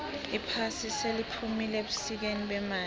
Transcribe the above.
iphasi seliphumile ebusikeni bemali